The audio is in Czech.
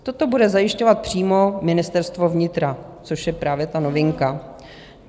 Toto bude zajišťovat přímo Ministerstvo vnitra, což je právě ta novinka.